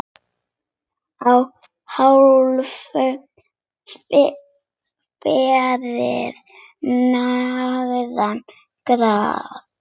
Að hálfu fyrir neðan gras.